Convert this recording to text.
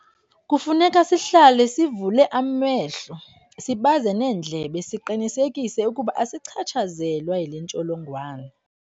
Kufuneka sihlale sivule amehlo, sibaze neendlebe siqinisekise ukuba asichatshazelwa yile ntsholongwane.